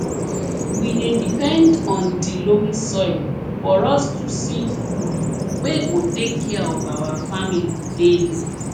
we dey depend on di loamy soil for us to see food wey go take care of our family daily